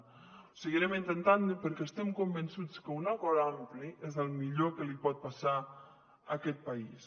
ho seguirem intentant perquè estem convençuts que un acord ampli és el millor que li pot passar a aquest país